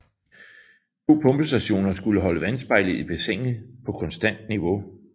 To pumpestationer skulle holde vandspejlet i bassinet på konstant niveau